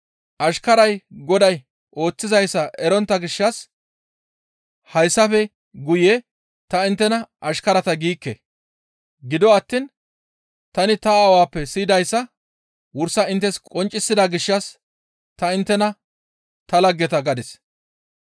Ashkaray goday ooththizayssa erontta gishshas hayssafe guye ta inttena ashkarata giikke. Gido attiin tani ta Aawappe siyidayssa wursa inttes qonccisida gishshas ta inttena ta laggeta gadis.